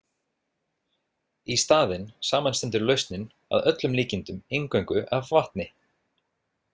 Í staðinn samanstendur lausnin að öllum líkindum eingöngu af vatni.